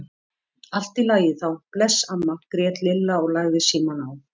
Allt í lagi þá, bless amma grét Lilla og lagði símann á.